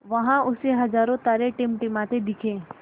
वहाँ उसे हज़ारों तारे टिमटिमाते दिखे